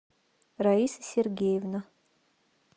раиса сергеевна